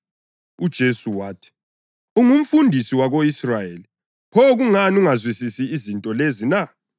UJesu wathi, “Ungumfundisi wako-Israyeli, pho kungani ungazwisisi izinto lezi na?